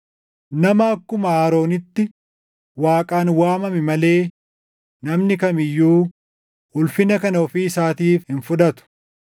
Nama akkuma Aroonitti Waaqaan waamame malee, namni kam iyyuu ulfina kana ofii isaatiif hin fudhatu.